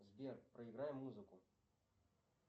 сбер проиграй музыку